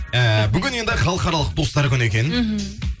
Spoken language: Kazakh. ііі бүгін енді халықаралық достар күні екен іхі